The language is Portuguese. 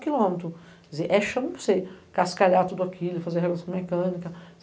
Chão para você cascalhar tudo aquilo, fazer relação mecânica.